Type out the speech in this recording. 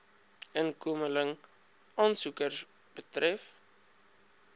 inkomeling aansoekers betref